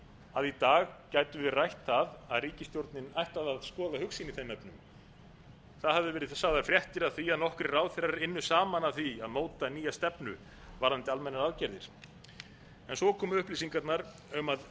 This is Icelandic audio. að í dag gætum við rætt það að ríkisstjórnin ætti að skoða hug sinn í þeim efnum það hafa verið sagðar fréttir af því að nokkrir ráðherrar ynnu saman að því að móta nýja stefnu varðandi almennar aðgerðir en svo komu upplýsingarnar um að